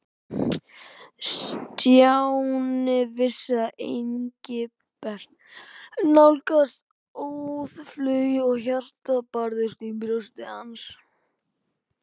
Stjáni vissi að Engilbert nálgaðist óðfluga og hjartað barðist í brjósti hans.